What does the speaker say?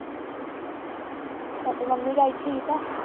ਅੱਛਾ ਤੇਰੇ mummy daddy ਠੀਕ ਆ?